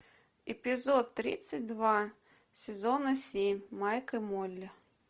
эпизод тридцать два сезона семь майк и молли